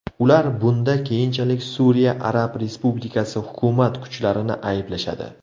Ular bunda keyinchalik Suriya Arab Respublikasi hukumat kuchlarini ayblashadi.